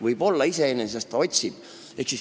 " Võib-olla ta iseenesest otsib.